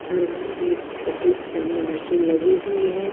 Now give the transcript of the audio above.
हर bed के ठीक सामने मशीन लगी हुई है।